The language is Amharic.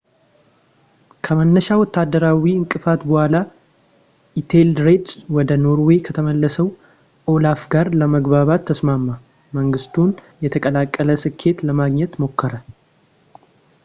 ከመነሻ ወታደራዊ እንቅፋት በኋላ ፣ ኢቴልሬድ ወደ ኖርዌይ ከተመለሰው ኦላፍ ጋር ለመግባባት ተስማማ ፣ መንግሥቱን የተቀላቀለ ስኬት ለማግኘት ሞከረ